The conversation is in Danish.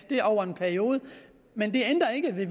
det er over en periode men det ændrer ikke ved